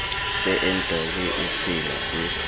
se nw e seno se